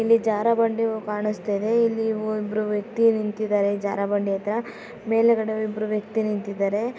ಜಾರೊ ಬಂಡಿಯೂ ಕಾಣುಸ್ತಾ ಇದೆ ಇಲ್ಲಿ ಇಬ್ಬರು ವ್ಯಕ್ತಿ ನಿಂತಿದ್ದಾರೆ ಜಾರ ಬಂಡೆ ಹತ್ರ ಮೇಲ್ಗಡೆ ಇಬ್ಬರು ವ್ಯಕ್ತಿ ನಿಂತಿದ್ದಾರೆ